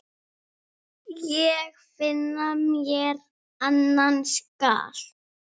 Ég finna mér annan skal.